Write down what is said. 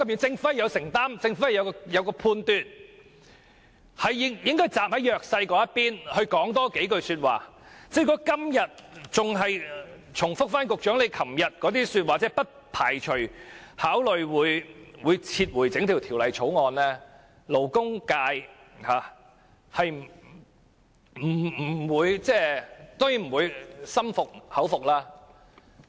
政府應有承擔和判斷，政府應站在弱勢的一方來多發聲，如果局長今天仍重複其昨天的發言，即不排除考慮會撤回整項《條例草案》，勞工界當然不會心悅誠服。